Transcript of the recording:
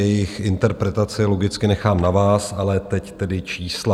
Jejich interpretaci logicky nechám na vás, ale teď tedy čísla.